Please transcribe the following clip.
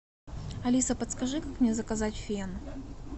алиса подскажи как мне заказать фен